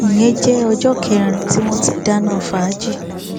ìyẹn jẹ ọjọ kẹrin tí wọn ti dáná fàájì